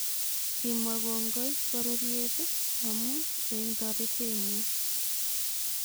Kimwaa kongoi pororyeet amun en toretenyin